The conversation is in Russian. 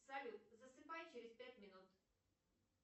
салют засыпай через пять минут